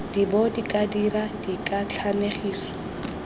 d bo ka dira dikatlanegiso